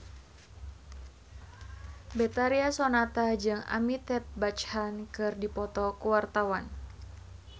Betharia Sonata jeung Amitabh Bachchan keur dipoto ku wartawan